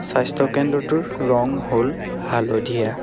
স্বাস্থ্য কেন্দ্ৰটোৰ ৰং হ'ল হালধীয়া।